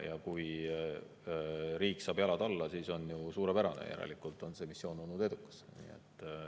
Ja kui riik saab jalad alla, see on ju suurepärane, järelikult on see missioon olnud edukas.